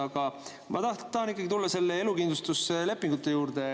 Aga ma tahan ikkagi tulla elukindlustuslepingute juurde.